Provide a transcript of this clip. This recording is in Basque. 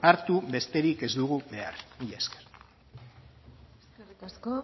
hartu besterik ez dugu behar mila esker eskerrik asko